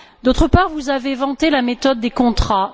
D'autre part, vous avez vanté la méthode des contrats.